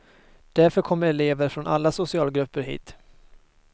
Därför kommer elever från alla socialgrupper hit.